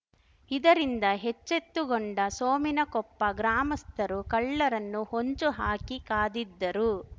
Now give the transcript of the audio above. ಇದರಿಂದ ಹೆಚ್ಚೆತ್ತುಗೊಂಡ ಸೋಮಿನಕೊಪ್ಪ ಗ್ರಾಮಸ್ಥರು ಕಳ್ಳರನ್ನು ಹೊಂಚುಹಾಕಿ ಕಾದಿದ್ದರು